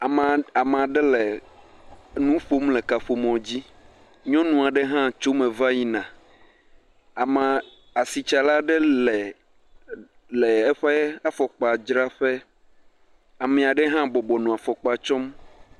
Amaɖe le nu ƒom le kaƒomɔ dzi, nyɔnua ɖe hã tso me va yi na, ama, asitsala ɖe le eƒe afɔkpa dzraƒe, amea ɖe hã bɔbɔ nɔ afɔkpa tsɔm.